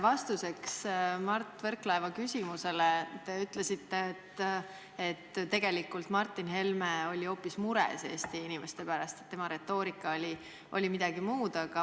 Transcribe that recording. Vastuseks Mart Võrklaeva küsimusele te ütlesite, et tegelikult Martin Helme oli hoopis mures Eesti inimeste pärast, et tema retoorika mõte oli teine.